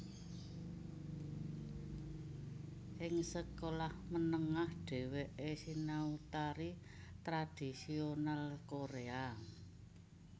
Ing sekolah menengah dheweke sinau tari tradisional Koréa